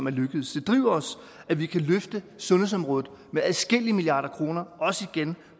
er lykkedes det driver os at vi kan løfte sundhedsområdet med adskillige milliarder igen